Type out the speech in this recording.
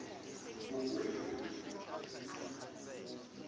ugwebu